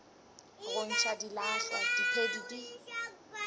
go ntšha dilahlwa diphedi di